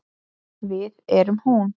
Við erum hún.